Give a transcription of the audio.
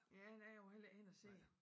Ja nej jeg var heller ikke henne og se